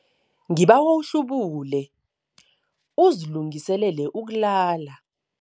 Ngibawa uhlubule uzilungiselele ukulala.